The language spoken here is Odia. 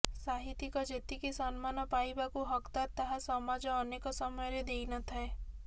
ସାହିତ୍ୟିକ ଯେତିକି ସମ୍ମାନ ପାଇବାକୁ ହକଦାର୍ ତାହା ସମାଜ ଅନେକ ସମୟରେ ଦେଇନଥାଏ